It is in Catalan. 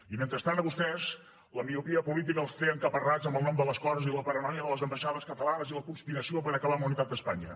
i mentrestant a vostès la miopia política els té encaparrats amb el nom de les coses i la paranoia de les ambaixades catalanes i la conspiració per acabar amb la unitat d’espanya